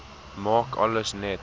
maak alles net